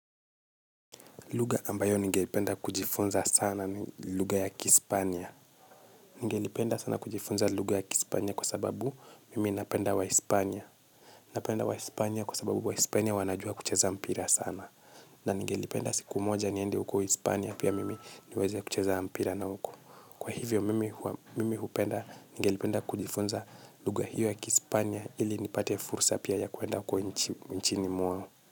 Lugha ambayo ningependa kujifunza sana ni lugha ya Kispania. Ningelipenda sana kujifunza lugha ya Kispania kwa sababu mimi napenda waispania. Napenda waispania kwa sababu waispania wanajua kucheza mpira sana. Na nigelipenda siku moja niende huko hispania pia mimi niweze kucheza mpira na huko. Kwa hivyo mimi hupenda nigelipenda kujifunza lugha hiyo ya Kispania ili nipate fursa pia ya kuenda huko nchini mwao.